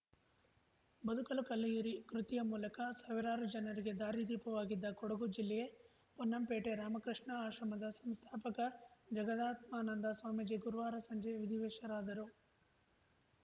ಬದುಕಲು ಕಲಿಯಿರಿ ಕೃತಿಯ ಮೂಲಕ ಸಾವಿರಾರು ಜನರಿಗೆ ದಾರಿದೀಪವಾಗಿದ್ದ ಕೊಡಗು ಜಿಲ್ಲೆ ಪೊನ್ನಂಪೇಟೆ ರಾಮಕೃಷ್ಣ ಆಶ್ರಮದ ಸಂಸ್ಥಾಪಕ ಜಗದಾತ್ಮಾನಂದ ಸ್ವಾಮೀಜಿ ಗುರುವಾರ ಸಂಜೆ ವಿಧಿವಶರಾದರು